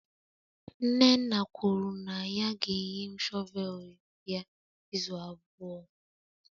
nnenna kwuru na ya ga-enye m shọvel ya izu abụọ.